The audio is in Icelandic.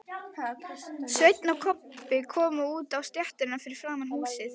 Svenni og Kobbi komu út á stéttina fyrir framan húsið.